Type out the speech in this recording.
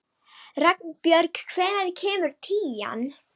Ragnbjörg, hvenær kemur tían?